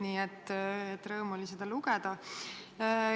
Nii et rõõm oli seda lugeda.